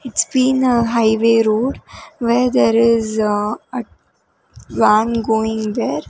it's been a highway road where there is uh a going there.